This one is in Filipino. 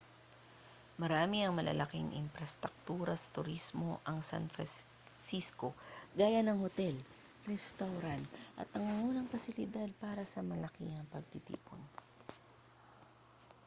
marami ang malalaking imprastraktura sa turismo ang san francisco gaya ng hotel restawran at nangungunang pasilidad para sa malakihang pagtitipon